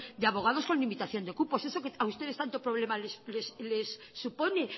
de abogados con limitación de cupo eso que a ustedes tanto problema les supone